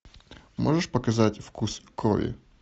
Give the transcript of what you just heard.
можешь показать вкус крови